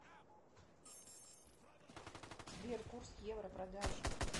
сбер курс евро продажа